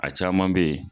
A caman bɛ yen